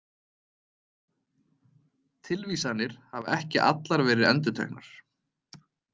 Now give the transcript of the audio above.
Tilvísanir hafa ekki allar verið endurteknar.